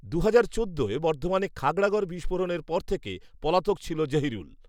দুহাজার চোদ্দোয় বর্ধমানে খাগড়াগড় বিস্ফোরণের পর থেকে পলাতক ছিল জহিরুল৷